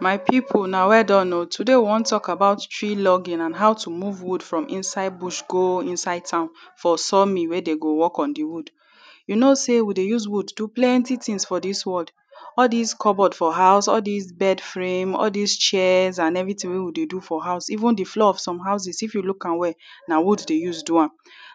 My people huna well done oh. Today we wan talk about tree logging and how to move wood from inside bush go inside town for sawmill wey they go work on the wood. You know sey we dey use wood do plenty things for dis world. All dis cupboard for house, all dis bedframe all dis chairs and everything wey we dey do for house even the floor of some houses if you look am well na wood dem use do am.